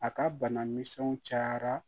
A ka bana misɛnw cayara